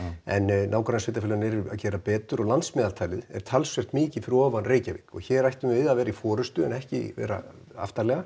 en nágrannasveitarfélögin eru að gera betur og landsmeðaltalið er talsvert mikið fyrir ofan Reykjavík og hér ættum við að vera í forystu en ekki vera aftarlega